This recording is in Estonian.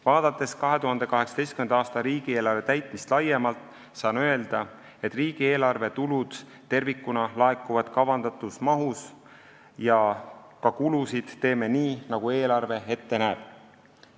Vaadates 2018. aasta riigieelarve täitmist laiemalt, saan öelda, et riigieelarve tulud tervikuna laekuvad kavandatud mahus ja ka kulusid teeme nii, nagu eelarve ette näeb.